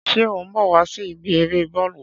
Ṣé o ń bọ̀ wá sí ibi eré Bọ́ọ́lù?